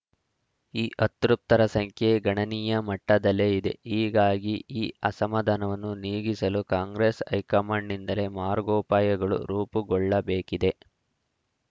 ಈ ಅತೃಪ್ತರ ಸಂಖ್ಯೆ ಗಣನೀಯ ಮಟ್ಟದಲ್ಲೇ ಇದೆ ಹೀಗಾಗಿ ಈ ಅಸಮಾಧಾನವನ್ನು ನೀಗಿಸಲು ಕಾಂಗ್ರೆಸ್‌ ಹೈಕಮಾಂಡ್‌ನಿಂದಲೇ ಮಾರ್ಗೋಪಾಯಗಳು ರೂಪುಗೊಳ್ಳಬೇಕಿದೆ